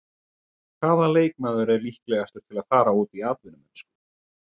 Hvaða leikmaður er líklegastur til að fara út í atvinnumennsku?